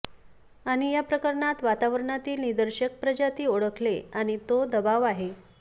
आणि या प्रकरणात वातावरणातील निर्देशक प्रजाती ओळखले आणि तो दबाव आहे